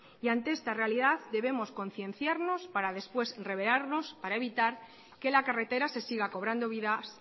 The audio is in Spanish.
y ante esta realidad debemos concienciarnos para después revelarnos para evitar que la carretera se siga cobrando vidas